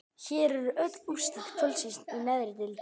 Hér eru öll úrslit kvöldsins í neðri deildum: